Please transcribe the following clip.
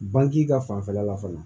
Banke ka fanfɛla la fana